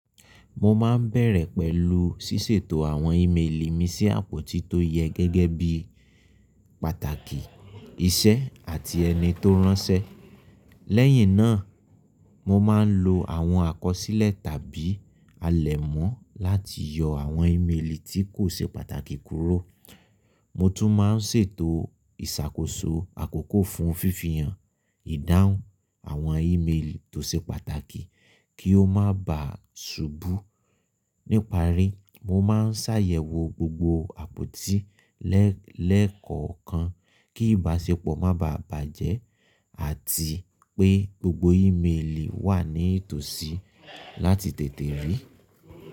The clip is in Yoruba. Mo máa ń bẹ̀rẹ̀ pẹ̀lú ṣíṣètò àwọn ímélì mi sí àpótí tó yẹ gẹ́gẹ́ bí pàtàkì, iṣẹ́ àti ẹni tó ránṣẹ́. Lẹ́yìn náà, mo máa ń lo àwọn àkọsílẹ̀ tàbí alẹ́ mọ́ láti yọ àwọn ímélì tí kò ṣe pàtàkì kúrò. Mo tún máa ń ṣètò ìṣàkóso àkókò fún fífihàn, ìdáhùn àwọn ímélì tó ṣe pàtàkì kí ó má bà subú. Níparí, mo máa ń ṣàyẹ̀wò gbogbo àpótí lẹ́kọ̀ọ̀kan kí ìbáṣepọ̀ má bà bàjẹ́ àti pé gbogbo ímélì wà ní tòsí láti tètè rí.